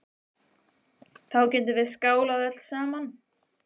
Þá getum við skálað öll saman.